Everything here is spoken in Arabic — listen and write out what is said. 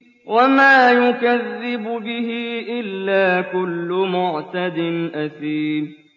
وَمَا يُكَذِّبُ بِهِ إِلَّا كُلُّ مُعْتَدٍ أَثِيمٍ